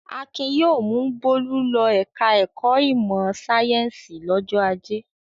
Akin yóò mú Bólú lọ ẹ̀ka-ẹ̀kọ́ ìmọ̀-sáyẹ́ńsì lọ́jọ́ ajé.